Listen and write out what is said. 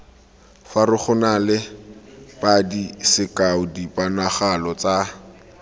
farologanale padi sekao diponagalo tsa